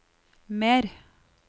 mer